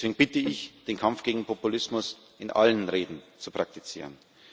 Deswegen bitte ich darum, den Kampf gegen Populismus in allen Reden zu praktizieren.